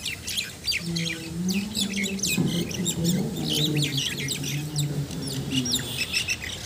Miyo winyo chanjo kinde ka kinde nyalo geng'o tuoche manyalo kelo hinyruok.